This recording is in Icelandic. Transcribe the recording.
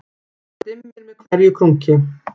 Það dimmir með hverju krunki